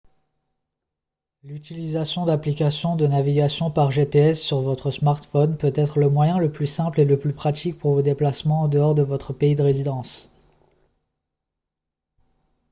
l'utilisation d'applications de navigation par gps sur votre smartphone peut être le moyen le plus simple et le plus pratique pour vos déplacements en dehors de votre pays de résidence